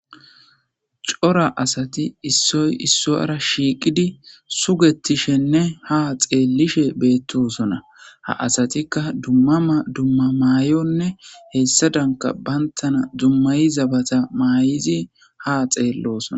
Cora asati issoy issoyara shiiqidi sugettishenne ha xeellishe beettosona ha asatikka dummama dumma maayonne hessa danka bayntana dummayi zabata maay'izi ha xeellosona